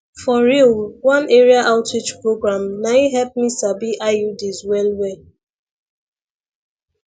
for real one area outreach program nai help me sabi iuds well well